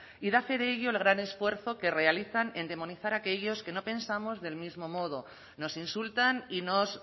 y da fe de ello el gran esfuerzo que realizan en demonizar a aquellos que no pensamos del mismo modo nos insultan y nos